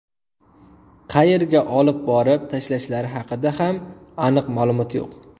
Qayerga olib borib tashlashlari haqida ham aniq ma’lumot yo‘q.